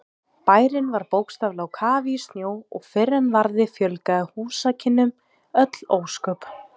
Bærinn var bókstaflega á kafi í snjó og fyrr en varði fjölgaði húsakynnum öll ósköp.